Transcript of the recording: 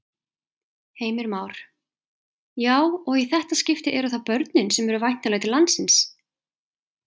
Heimir Már: Já, og í þetta skipti eru það börnin sem eru væntanleg til landsins?